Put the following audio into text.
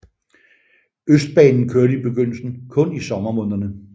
Østbanen kørte i begyndelsen kun i sommermånederne